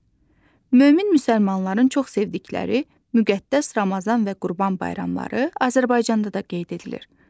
Mömin müsəlmanların çox sevdikləri müqəddəs Ramazan və Qurban bayramları Azərbaycanda da qeyd edilir.